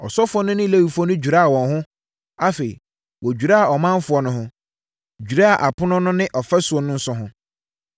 Asɔfoɔ no ne Lewifoɔ no dwiraa wɔn ho, afei wɔdwiraa ɔmanfoɔ no ho, dwiraa apono no ne ɔfasuo no nso ho.